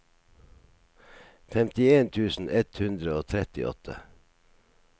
femtien tusen ett hundre og trettiåtte